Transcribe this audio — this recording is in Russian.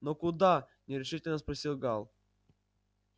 но куда нерешительно спросил гаал